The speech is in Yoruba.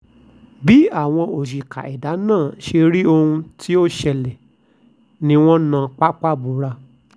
bí àwọn òṣìkà ẹ̀dá náà ṣe rí ohun tó ṣẹlẹ̀ ni wọ́n na pápá bora